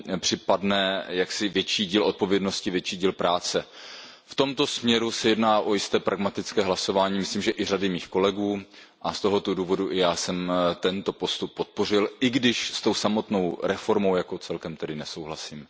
připadne jaksi větší díl odpovědnosti, větší díl práce. V tomto směru se jedná o pragmatické hlasování, myslím, že i řady mých kolegů a z tohoto důvodu jsem i já tento postup podpořil, i když se samotnou reformou jako celkem tedy nesouhlasím.